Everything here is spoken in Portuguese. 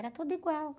Era tudo igual.